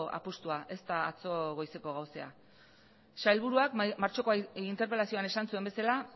apustua ez da atzo goizeko gauza sailburuak martxoko interpelazioan esan zuen bezala